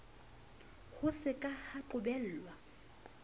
ho se ka ha qobellwa